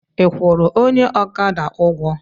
Ị kwụrụ onye ọkada ụgwọ?